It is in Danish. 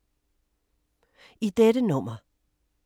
I dette nummer